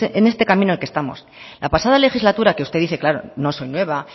en este camino en el que estamos la pasada legislatura que usted dice claro no soy nueva